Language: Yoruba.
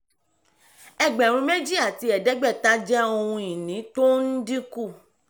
ẹgbẹ̀rún méjì àti ẹ̀ẹ́dẹ́gbẹ̀ta jẹ́ ohun ìní tó ń dínkù.